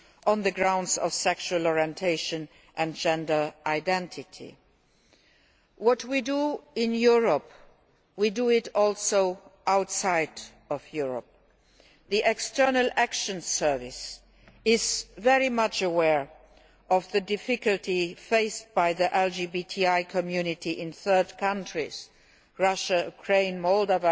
on the grounds of sexual orientation and gender identity. What we do in Europe, we also do outside Europe. The External Action Service is very much aware of the difficulties faced by the LGBTI community in third countries like Russia, Ukraine and Moldova,